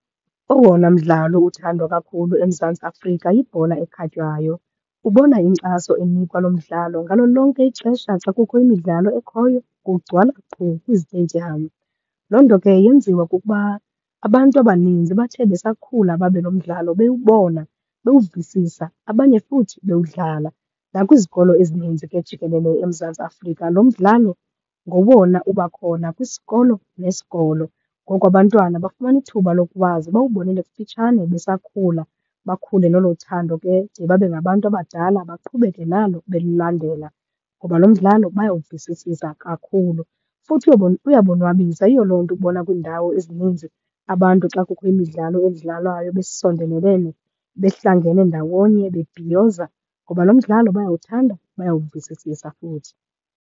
Owona mdlalo uthandwa kakhulu eMzantsi Afrika yibhola ekhatywayo. Ubona inkxaso enikwa lo mdlalo. Ngalo lonke ixesha xa kukho imidlalo ekhoyo, kugcwala qhu kwiziteyidiyamu. Loo nto ke yenziwa kukuba abantu abaninzi bathe besakhula babe lo mdlalo bewubona, bewuvisisa, abanye futhi bewudlala. Nakwizikolo ezininzi ke jikelele eMzantsi Afrika, lo mdlalo ngowona uba khona kwisikolo nesikolo. Ngoko abantwana bafumana ithuba lokuwazi bawubonele kufitshane besakhula, bakhule nolo thando ke de babe ngabantu abadala, baqhubeke nalo belilandela ngoba lo mdlalo bayawuvisisisa kakhulu. Futhi uyabonwabisa. Yiyo loo nto ubona kwiindawo ezininzi abantu xa kukho imidlalo edlalwayo besondelelene, behlangene ndawonye bebhiyoza, ngoba lo mdlalo bayawuthanda, bayawuvisisisa futhi.